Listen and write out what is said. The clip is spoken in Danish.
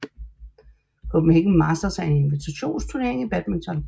Copenhagen Masters er en invitationsturnering i badminton